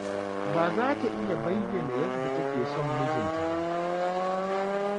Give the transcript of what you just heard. Ba za ta iya bayyana yadda take son mijinta ba.